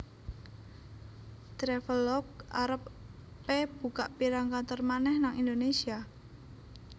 Travelogue arep e buka pirang kantor maneh nang Indonesia?